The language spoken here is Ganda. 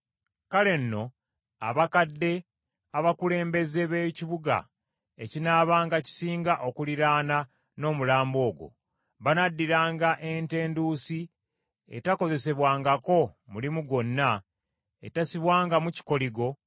Kale nno abakadde abakulembeze b’ekibuga ekinaabanga kisinga okuliraana n’omulambo ogwo, banaaddiranga ente enduusi etakozesebwangako mulimu gwonna, etassibwangamu kikoligo,